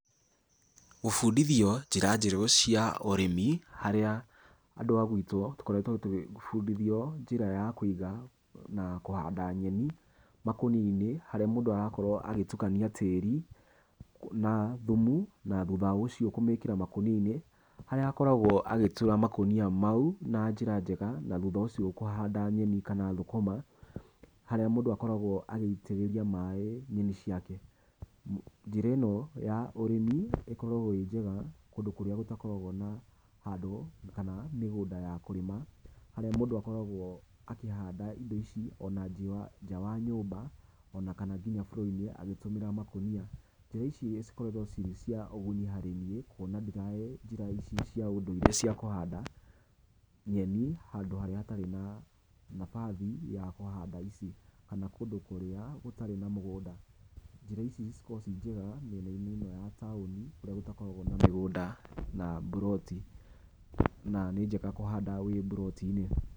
Gũbundithio njĩra njerũ cia ũrĩmi harĩa andũ a gwitũ tũkoretwo tũgĩbundithio njĩra ya kũiga na kũhanda nyeni makũnia-inĩ harĩa mũndũ arakorwo agĩtukania tĩĩri na thumu na thutha ũcio kũmĩkĩra makũnia-inĩ. Harĩa akoragwo agĩtura makũnia mau na njĩra njega, na thutha ũcio kũhanda nyeni kana thũkũma. Harĩa mũndũ akoragwo agĩitĩrĩria maĩ nyeni ciake. Njĩra ĩno ya ũrĩmi ikoragwo ĩĩ njega kũndũ kũrĩa gũtakoragwo na handũ kana mĩgũnda ya kũrĩma. Harĩa mũndũ akoragwo akĩhanda indo ici ona nja wa nyũmba, ona kana nginya floor inĩ agĩtũmĩra makũnia. Njĩra ici cikoragwo cirĩ cia ũguni harĩ niĩ kuona njĩra ici cia ũndũire cia kũhanda nyeni handũ harĩa hatarĩ nafasi ya kũhanda ici kana kũndũ kũria gũtarĩ na mũgũnda. Njĩra ici cikoragwo ĩĩ njega mĩena-inĩ ĩno ya taũni kũrĩa gũkoragwo gũtarĩ na mĩgũnda na mburoti, na nĩ njega kũhanda wĩ mburoti-inĩ.